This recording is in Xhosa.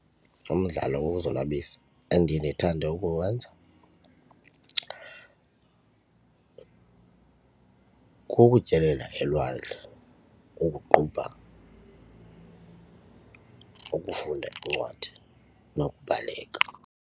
Umdlalo wokuzonwabisa endiye ndithande ukuwenza kukutyelela elwandle, ukuqubha, ukufunda iincwadi nokubaleka.